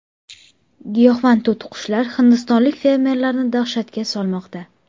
Giyohvand to‘tiqushlar hindistonlik fermerlarni dahshatga solmoqda.